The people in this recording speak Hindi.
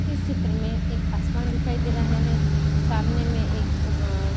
इस चित्र में एक आसमान दिखाई दे रहा है सामने में एक म-अ--